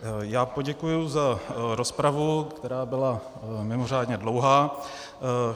Já poděkuji za rozpravu, která byla mimořádně dlouhá.